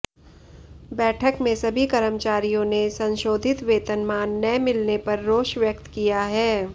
बैठक में सभी कर्मचारियों ने संशोधित वेतनमान न मिलने पर रोष व्यक्त किया है